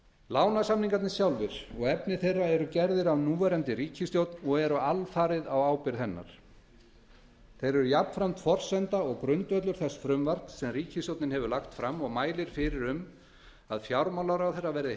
lánasamningarnir sjálfir og efni þeirra eru gerðir af núverandi ríkisstjórn og eru alfarið á hennar ábyrgð þeir eru jafnframt forsenda og grundvöllur þess frumvarps sem ríkisstjórnin hefur lagt fram og mælir fyrir um að fjármálaráðherra verði